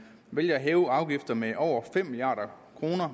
vælger at hæve afgifter med over fem milliard kr